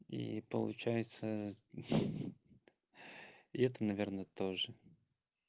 и получается и это наверное тоже